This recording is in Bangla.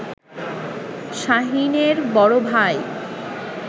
শাহীনের বড় ভাই